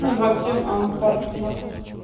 парк космонавтов